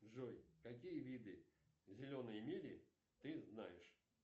джой какие виды зеленой мили ты знаешь